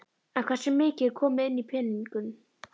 En hversu mikið er komið inn í peningum?